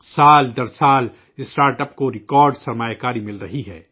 سال در سال اسٹارٹ اپ کو ریکارڈ تعداد میں سرمایہ حاصل ہو رہا ہے